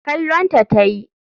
Kallon ta tayi.